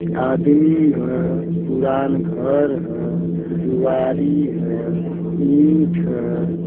आदमी ह। पुरान घर ह। दुआरी ह। ईंट ह।